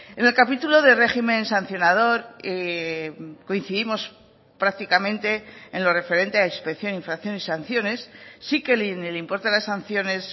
en el capítulo de régimen sancionador coincidimos prácticamente en lo referente a inspección infracción y sanciones sí que en el importe de las sanciones